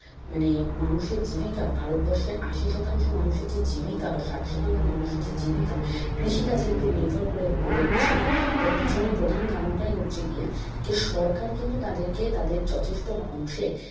মানে মানুষের জীবিকা ভারতবর্ষের আশি শতাংশ মানুষের যে জীবিকা বা ষাট শতাংশ মানুষের যে জীবিকা কৃষি কাজের উপর নির্ভর করে গড়ে উঠছে না তার পিছনে প্রধান কারণটাই হচ্ছে গিয়ে যে সরকার কিন্তু তাদেরকে তাদের যথেষ্ট অংশে